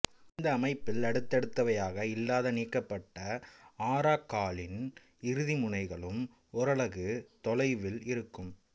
இந்த அமைப்பில் அடுத்தடுத்தவையாக இல்லாத நீக்கப்பட்ட ஆரக்காலின் இறுதிமுனைகளும் ஓரலகு தொலைவில் இருக்கும்